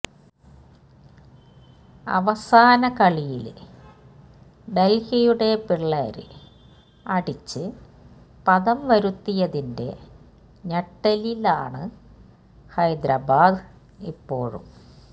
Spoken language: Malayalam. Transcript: അവസാന കളിയില് ഡെല്ഹിയുടെ പിള്ളേര് അടിച്ച് പതംവരുത്തിയതിന്റെ ഞെട്ടലിലാണ് ഹൈദരാബാദ് ഇപ്പോഴും